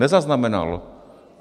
Nezaznamenal.